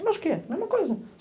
Eu acho que é. Mesma coisa.